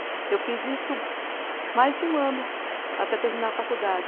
Eu fiz isso mais de um ano até terminar a faculdade.